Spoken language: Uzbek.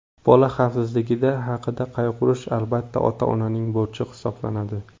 Bola xavfsizligi haqida qayg‘urish albatta, ota-onaning burchi hisoblanadi.